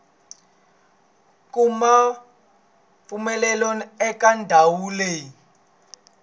kuma mpfumelelo eka ndhawu leyi